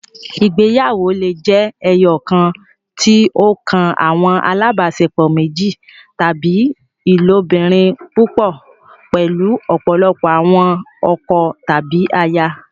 Ìgbéyàwó le jẹ ẹyọkan, tí o kan awọn alabaṣepọ méjì, tàbí ilobirin púpọ, pẹlu ọpọlọpọ awọn ọkọ tàbí àyà